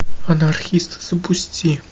анархист запусти